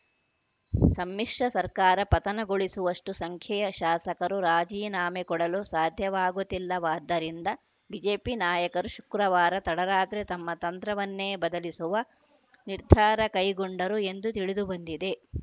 ಸಮ್ಮಿಶ್ರ ಸರ್ಕಾರ ಪತನಗೊಳಿಸುವಷ್ಟುಸಂಖ್ಯೆಯ ಶಾಸಕರು ರಾಜೀನಾಮೆ ಕೊಡಲು ಸಾಧ್ಯವಾಗುತ್ತಿಲ್ಲವಾದ್ದರಿಂದ ಬಿಜೆಪಿ ನಾಯಕರು ಶುಕ್ರವಾರ ತಡರಾತ್ರಿ ತಮ್ಮ ತಂತ್ರವನ್ನೇ ಬದಲಿಸುವ ನಿರ್ಧಾರ ಕೈಗೊಂಡರು ಎಂದು ತಿಳಿದು ಬಂದಿದೆ